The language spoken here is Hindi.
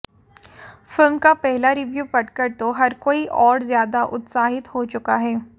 फिल्म का पहला रिव्यू पढ़कर तो हर कोई और ज़्यादा उत्साहित हो चुका है